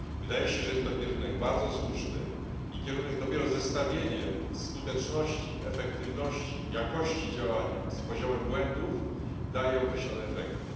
Wydaje się, że jest to kierunek bardzo słuszny, bo dopiero zestawienie skuteczności, efektywności i jakości działania z poziomem błędów daje określone efekty.